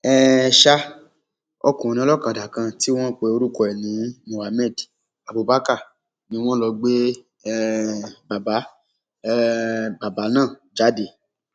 um ọkùnrin olókàdá kan tí wọn pe orúkọ ẹ ní mohammed abubakar ni wọn lọ gbé um bàbá um bàbá náà jáde